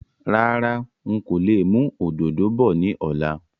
Rárá, ń kò lè mú òdòdó bọ̀ ni ọ̀la